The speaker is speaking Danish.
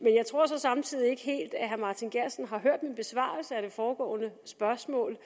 jeg tror så samtidig ikke helt at herre martin geertsen har hørt min besvarelse af det foregående spørgsmål